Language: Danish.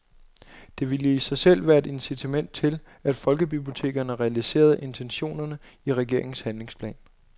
Dette ville i sig selv være et incitament til, at folkebibliotekerne realiserede intentionerne i regeringens handlingsplan.